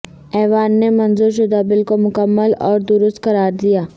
ایوان نے منظور شدہ بل کو مکمل اور درست قرار دیا